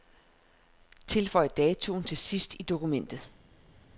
Tilføj datoen til sidst i dokumentet.